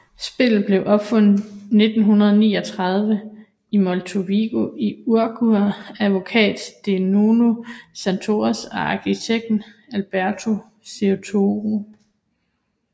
Spillet blev opfundet 1939 i Montevideo i Uruguay af advokat Segundo Santos og arkitekten Alberto Serrato